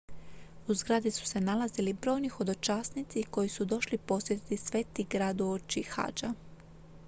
u zgradi su se nalazili brojni hodočasnici koji su došli posjetiti sveti grad uoči hadža